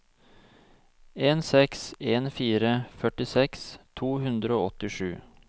en seks en fire førtiseks to hundre og åttisju